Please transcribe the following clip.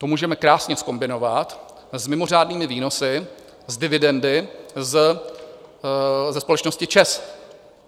To můžeme krásně zkombinovat s mimořádnými výnosy z dividendy ze společnosti ČEZ.